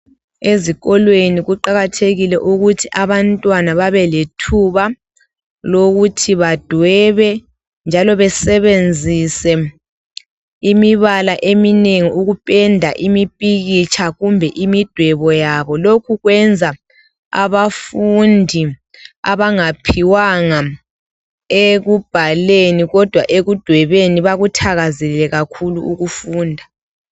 Ezikolweni kuqakathekile ukuthi abantwana babelethuba lokuthi badwebe njalo besebenzise imibala eminengi ukupenda imipikitsha kumbe imidwebo yabo. Lokhu kwenza abafundi abangaphiwanga ekubhaleni kodwa ekudwebeni bakuthakazelele kakhulu ukufunda.